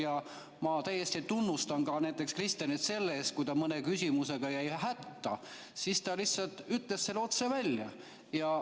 Ja ma täiesti tunnustan Kristenit ka näiteks selle eest, et kui ta mõne küsimusega jäi hätta, siis ta lihtsalt ütles selle otse välja.